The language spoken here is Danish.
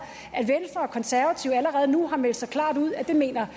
at venstre og konservative allerede nu har meldt så klart ud at det mener